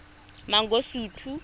mangosuthu